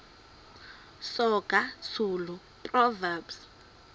soga zulu proverbs